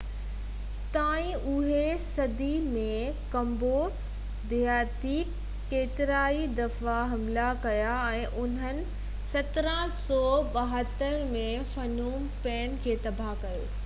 ٿائين 18 صدي ۾ ڪمبوڊيا تي ڪيترائي دفعا حملا ڪيا ۽ انهن 1772 ۾ فنوم پين کي تباه ڪيو